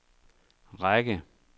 række